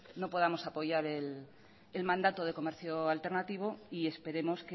no podamos apoyar el mandato de comercio alternativo y esperemos